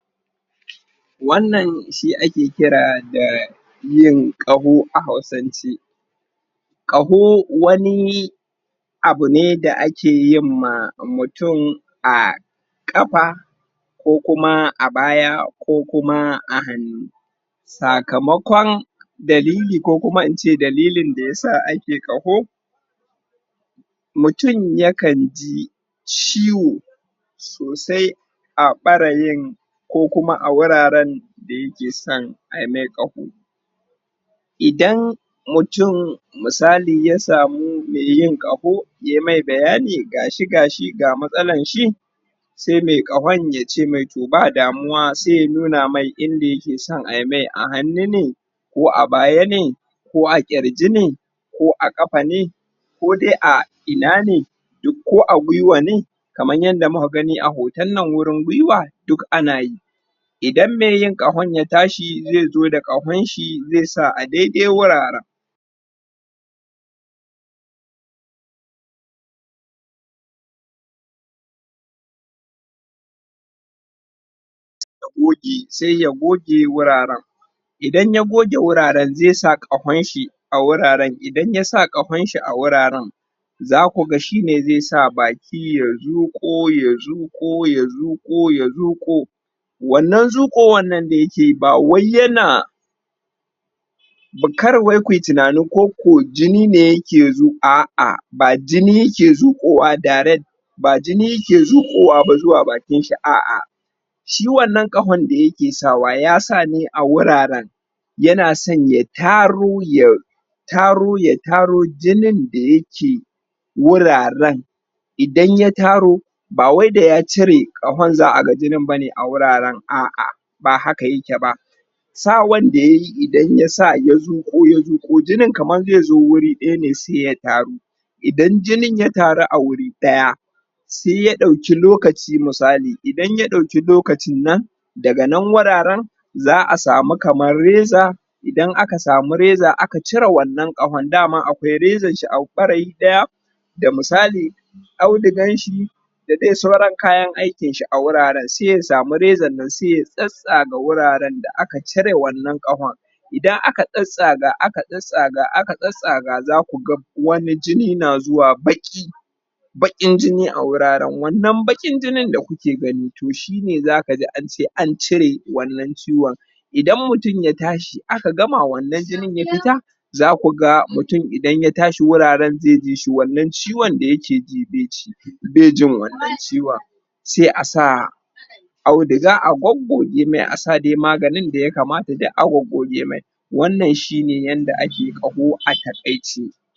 wannan shi ake kira da yin kaho a hausance kaho wani abu ne da ake yin mamutum a kafa ko kuma a baya ku kuma a hannu sakamakon dalili ko kuma in ce dalilin da ya sa ake kaho mutum ya kan ji ciwo sosai a bareyin ko kuma a wuraren da ya ke sa a yi nai kaho idan mutum misali ya samu mai yin kaho ya yi mai bayani gashi gashi ga masalan shi sai mai kahon ya ce mai toh ba damuwa sai ya nuna mai inda ya ke son a yi mai a hannu ne ko a baya ne ko a kirji ne ko a kafa ne ko dai a ina ne duk ko a gwiwa ne kaman yadda mu ka gani a hoton na wurin gwiwa duk ana yi idan maiyin kahon ya tashi zai zo da kahon shi zai sa a daidai wuraren sai ya goge wuraren idan ya goge wuraren zai sa kahon shi a wuraren idan ya sa kahon shi a wuraren za ku ga shi ne zai sa baki ya zuko ya zuko ya zuko ya zuko wannan zukowan nan da ya ke yi ba wai yana bukar wai ku yi tunani ko ko jini ne yake zo a'a ba jini yake zukowa direct ba jinine ya ke zukowa zuwa bakin shi a'a shi wannan kahon da ya ke sa wa ya sa ne a wuraren yana son ya taro ya taro ya taro jinin da ya ke wuraren idan ya taro ba wai da ya cire kahon za'a gajinan ba ne a wuraren a'a ba haka yake ba sawan da ya yi idan ya sa ya zuko ya zuko jinin kaman zai zo wuri daya ne sai ya taru idan jinin ya taru a wuri daya sai ya dauki lokaci misali idan ya dauki lokacin nan daga nan wuraren za'a samu kamar reza idan aka samu reza aka cire wannan kahon dama akwai rezan shi a daya da misali audugan shi da dayan sauran kayan shi a wuraren sai ya samu rezan shi sai ya tsatsaga wuraren da aka cire wannan kahon idan aka tsatsaga aka tsatsaga aka tsatsaga za ku ga wani jini na zuwa baki bakin jini a wuraren wannan bakin jinin da kuke gani toh shi ne za ka ga an ce an cire wannan ciwon idan mutum ya tashi aka gama wannan jinin ya fita za ku ga mutum idan ya tashi wuraren zai ji shi wannan ciwon da ya ke ji bai jin wannan ciwon sai a sa auduga a goggoge ma a sa dai maganin da ya kamata duk a goggoge mai wannan shi ne yanda ake kaho a takaice